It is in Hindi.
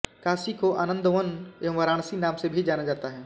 काशी को आनंदवन एंव वाराणसी नाम से भी जाना जाता है